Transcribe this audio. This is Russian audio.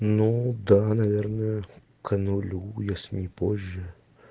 ну да наверное к нулю если не позже